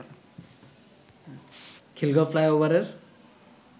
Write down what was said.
খিলগাঁও ফ্লাইওভারের